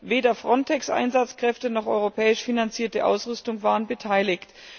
Weder Frontex Einsatzkräfte noch europäisch finanzierte Ausrüstung waren beteiligt.